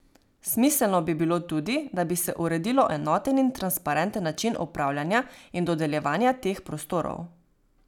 Smiselno bi bilo tudi, da bi se uredilo enoten in transparenten način upravljanja in dodeljevanja teh prostorov.